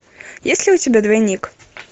есть ли у тебя двойник